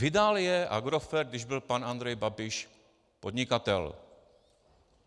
Vydal je Agrofert, když byl pan Andrej Babiš podnikatel.